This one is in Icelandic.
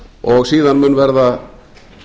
og síðan mun verða